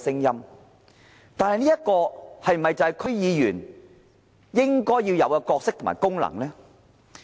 然而，這是否區議員應有的角色和功能呢？